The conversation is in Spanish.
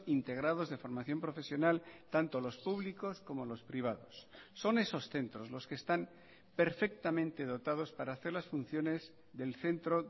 integrados de formación profesional tanto los públicos como los privados son esos centros los que están perfectamente dotados para hacer las funciones del centro